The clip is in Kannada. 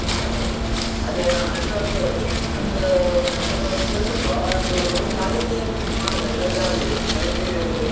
ಆಯ್ತಾಯ್ತು ಅದೇ ನಾನ್ friend ನವ್ರನ್ನ, friend, friend ನ ಹತ್ರ ಒಂದು ಕೇಳ್ಬೇಕು. ಅವನದ್ದು room ಖಾಲಿ ಇದ್ರೆ ಮಾತ್ರ, ಇಲ್ಲಾಂದ್ರೆ ಆಗುದಿಲ್ಲ ಮತ್ತೇ ನೀವೇ ಒಂದು.